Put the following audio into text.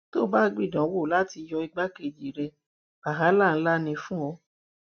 tó o bá gbìdánwò láti yọ igbákejì rẹ wàhálà ńlá ni fún ọ